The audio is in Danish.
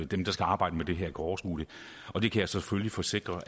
dem der skal arbejde med det her kan overskue det og det kan jeg selvfølgelig forsikre